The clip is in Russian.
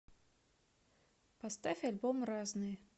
поставь альбом разные